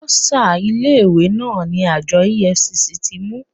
Bọ́sà ilé ìwé náà ni àjọ EFCC ti mú.